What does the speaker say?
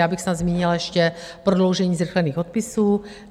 Já bych snad zmínila ještě prodloužení zrychlených odpisů.